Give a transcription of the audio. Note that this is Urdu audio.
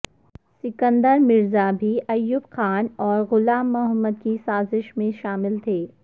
سکندر مرزا بھی ایوب خان اور غلام محمد کی سازش میں شامل تھے